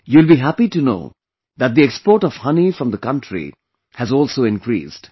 You will be happy to know that the export of honey from the country has also increased